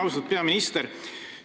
Austatud peaminister!